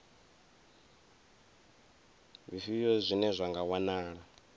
zwifhio zwine zwa nga wanala